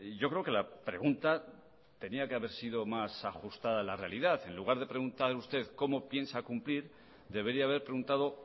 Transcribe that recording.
yo creo que la pregunta tenía que haber sido más ajustada a la realidad en lugar de preguntar usted cómo piensa cumplir debería haber preguntado